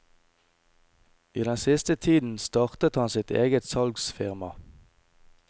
I den siste tiden startet han sitt eget salgsfirma.